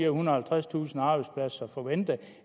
og halvtredstusind arbejdspladser som forventet